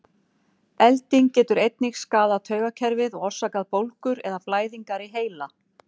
Elding getur einnig skaðað taugakerfið og orsakað bólgur eða blæðingar í heila.